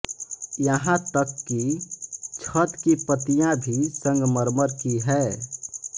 यहाँ तक कि छत की पत्तियां भी संगमरमर की हैं